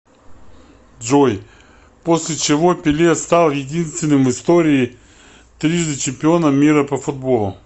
джой после чего пеле стал единственным в истории трижды чемпионом мира по футболу